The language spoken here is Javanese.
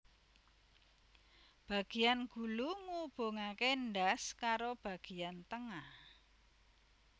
Bagiyan gulu ngubungake ndas karo bagiyan tengah